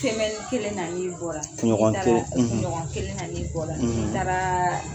kelen na n'i bɔra n'i taara kunɲɔgɔn kelen na n'i bɔra n'i taara